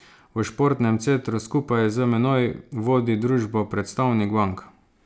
V športnem centru skupaj z menoj vodi družbo predstavnik bank.